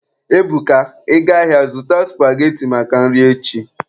Ebuka,Ị gaa ahịa, zụta supageti maka nri echi!